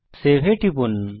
save এ টিপুন